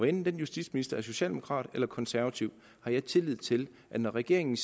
enten den justitsminister er socialdemokrat eller konservativ har jeg tillid til at når regeringen